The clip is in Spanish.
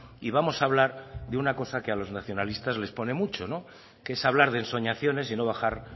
y vamos a hablar de una cosa que a los nacionalistas les pone mucho que es hablar de ensoñaciones y no bajar